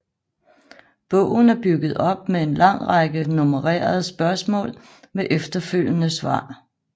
Bogen er bygget op med en lang række nummererede spørgsmål med efterfølgende svar